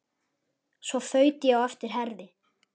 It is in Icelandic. Svo þaut ég á eftir Herði.